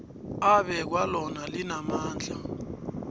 abekwa lona linamandla